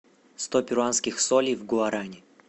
сто перуанских солей в гуарани